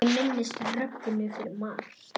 Ég minnist Rögnu fyrir margt.